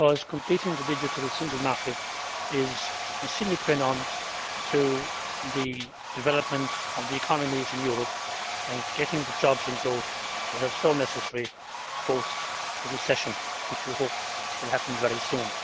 Completing the digital single market is a sine qua non for the development of the economy in Europe and getting the jobs and growth which are so necessary post the recession, which we hope will happen very soon.